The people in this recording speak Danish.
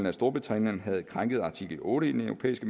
at storbritannien havde krænket artikel otte i den europæiske